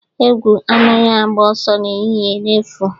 Egwu anaghị agba ọsọ n'ehihie n'efu.